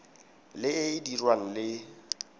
le e e dirwang le